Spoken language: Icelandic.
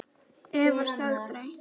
Efast aldrei.